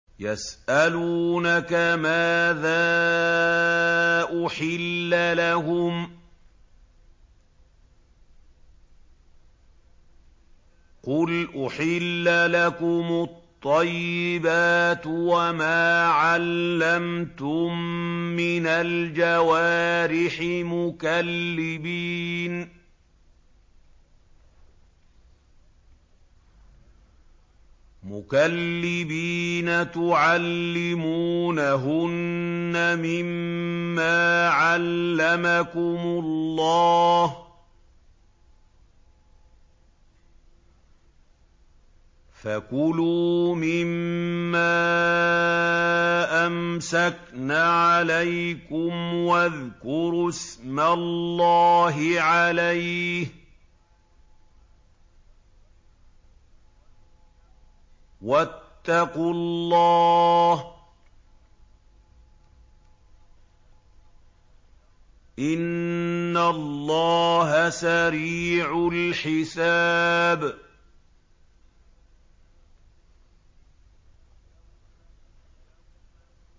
يَسْأَلُونَكَ مَاذَا أُحِلَّ لَهُمْ ۖ قُلْ أُحِلَّ لَكُمُ الطَّيِّبَاتُ ۙ وَمَا عَلَّمْتُم مِّنَ الْجَوَارِحِ مُكَلِّبِينَ تُعَلِّمُونَهُنَّ مِمَّا عَلَّمَكُمُ اللَّهُ ۖ فَكُلُوا مِمَّا أَمْسَكْنَ عَلَيْكُمْ وَاذْكُرُوا اسْمَ اللَّهِ عَلَيْهِ ۖ وَاتَّقُوا اللَّهَ ۚ إِنَّ اللَّهَ سَرِيعُ الْحِسَابِ